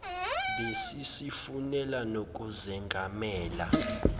besi sifune nokuzengamela